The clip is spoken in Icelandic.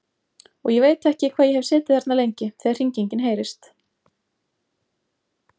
Og ég veit ekki hvað ég hef setið þarna lengi þegar hringingin heyrist.